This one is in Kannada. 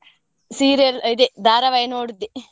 Serial ಇದೇ ಧಾರಾವಾಹಿ ನೋಡುದೇ.